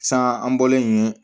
San an bɔlen yen